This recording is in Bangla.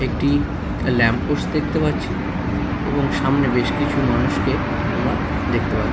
একটি ল্যাম্প পোস্ট দেখতে পাচ্ছি এবং সামনে বেশ কিছু মানুষকে আমরা দেখতে পা--